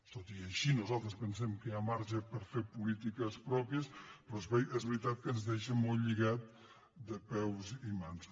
tot i així nosaltres pensem que hi ha marge per fer polítiques pròpies pe·rò és veritat que ens deixa molt lligats de peus i mans